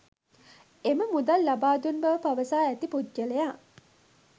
එම මුදල් ලබා දුන් බව පවසා ඇති පුද්ගලයා